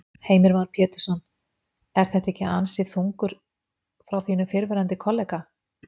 Heimir Már Pétursson: Er þetta ekki ansi þungur frá þínum fyrrverandi kollega?